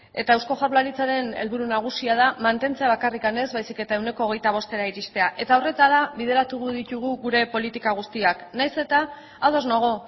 eta eusko jaurlaritzaren helburu nagusia da mantentzea bakarrik ez baizik eta ehuneko hogeita bostera iristea eta horretara bideratuko ditugu gure politika guztiak nahiz eta ados nago